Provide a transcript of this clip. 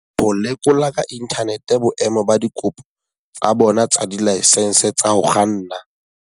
Ho lekola ka inthanete boemo ba dikopo tsa bona tsa dilaesense tsa ho kganna